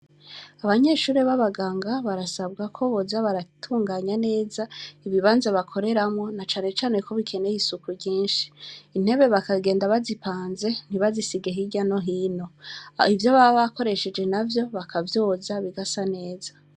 Abanyeshure b' abaganga barasabwa ko boza baratunganya neza ibibanza bakoreramwo, na cane cane ko hakeye isuku ryinshi. Intebe bagasiga bazipanze ntibazisige hirya no hino. Ivyo baba nakoresheje navyo bakavyoza, bigasa neza.